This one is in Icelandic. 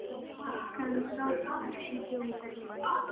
En samt ekki djók.